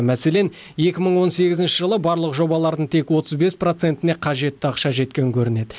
мәселен екі мың он сегізінші жылы барлық жобалардың тек отыз бес процентіне қажетті ақша жеткен көрінеді